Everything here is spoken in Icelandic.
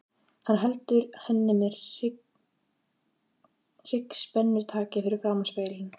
Hann heldur henni með hryggspennutaki fyrir framan spegilinn.